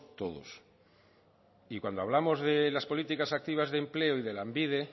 todos cuando hablamos de las políticas activas de empleo y de lanbide